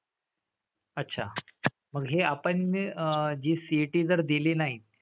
अच्छा. मग हे आपण ने अह जी CET जर दिली नाही,